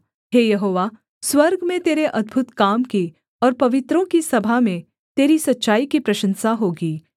हे यहोवा स्वर्ग में तेरे अद्भुत काम की और पवित्रों की सभा में तेरी सच्चाई की प्रशंसा होगी